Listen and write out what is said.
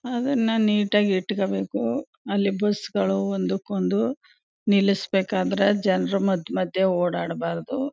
ಅದುನ್ನ ನೀಟಾ ಗಿ ಇಟ್ಕೋಬೇಕು ಅಲ್ಲಿ ಬಸ್ ಗಳು ಒಂದಕೊಂದು ನಿಲ್ಲುಸ್ಬೇಕಾದರೆ ಜನರು ಮಧ್ಯ ಮಧ್ಯ ಓಡಾಡಬಾರದು.